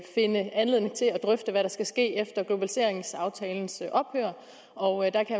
drøfte hvad der skal ske efter globaliseringsaftalens ophør og der kan